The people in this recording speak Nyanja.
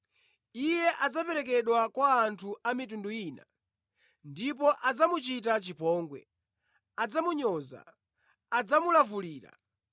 Iye adzaperekedwa kwa anthu a mitundu ina. Ndipo adzamuchita chipongwe, adzamunyoza, adzamulavulira,